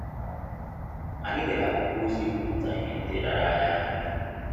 Anyị dere akwụkwọ ozi ikwuputa ihe ndị rara anyị ahụ ikwu